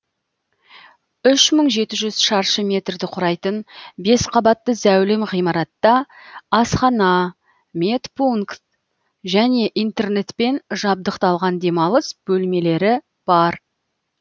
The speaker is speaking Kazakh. үш мың жеті жүз шаршы метрді құрайтын бес қабатты зәулім ғимаратта асхана медпункт және интернетпен жабдықталған демалыс бөлмелері бар